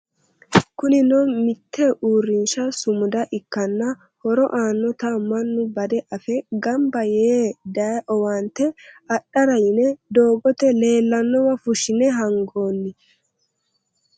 Kunino mite uurrinsha sumuda ikkanna horo aanotta mannu bade affe gamba yee daaye owaante adhara yine doogote leellanowa fushine hangonni.